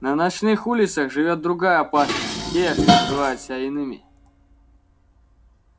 на ночных улицах живёт другая опасность те что называют себя иными